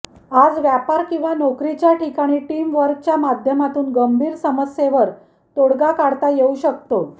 आज व्यापार किंवा नोकरीच्या ठिकाणी टीम वर्कच्या माध्यमातून गंभीर समस्येवर तोडगा काढता येऊ शकतो